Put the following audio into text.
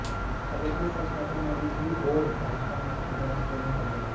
अगर ये सच है तो मोदी जी और भाजपा ने इसकी जांच क्यों नहीं करवाई